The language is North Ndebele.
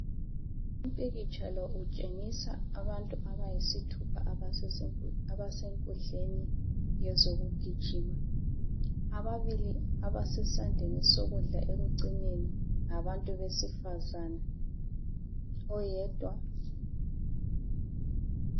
Umpikitsha lo utshengisa abantu abayisithupha, abasesenku.....abasenkundleni yezokugijima. Ababili abasesandleni sokudla ekucineni ngabantu besifazana. Oyedwa....